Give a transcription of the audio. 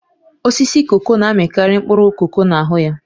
Osisi koko na-amịkarị mkpụrụ koko na-ahụ ya